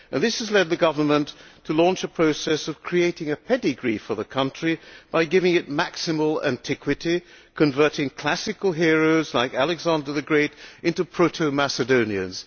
This has led the government to launch a process of creating a pedigree for the country by giving it maximal antiquity, converting classical heroes like Alexander the Great into proto Macedonians.